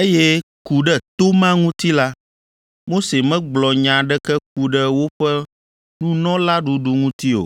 eye ku ɖe to ma ŋuti la, Mose megblɔ nya aɖeke ku ɖe woƒe nunɔlaɖuɖu ŋuti o.